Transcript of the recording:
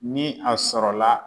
Ni a sɔrɔ la